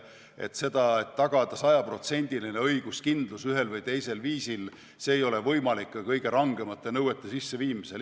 Nii et tagada sajaprotsendiline õiguskindlus ühel või teisel viisil ei ole võimalik ka kõige rangemate nõuete sisseviimise korral.